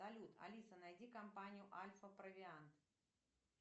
салют алиса найди компанию альфапровиант